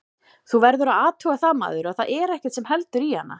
Þú verður að athuga það maður, að þar er ekkert sem heldur í hana.